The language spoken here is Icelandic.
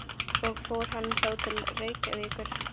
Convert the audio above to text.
Og fór hann þá til Reykjavíkur?